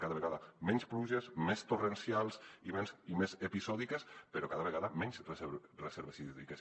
cada vegada menys pluges més torrencials i més episòdiques però cada vegada menys reserves hídriques